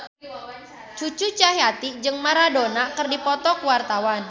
Cucu Cahyati jeung Maradona keur dipoto ku wartawan